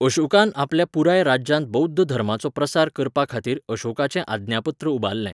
अशोकान आपल्या पुराय राज्यांत बौध्द धर्माचो प्रसार करपाखातीर अशोकाचें आज्ञापत्र उबारलें.